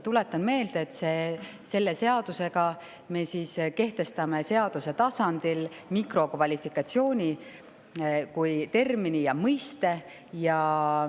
Tuletan meelde, et selle seadusega me kehtestame seaduse tasandil mikrokvalifikatsiooni kui termini ja mõiste.